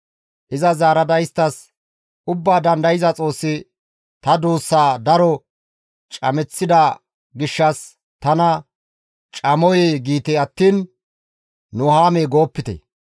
Iza zaarada isttas, «Ubbaa Dandayza Xoossi ta duussaa daro cameththida gishshas tana, ‹Camoyee!› giite attiin, ‹Nuhaamee› goopite.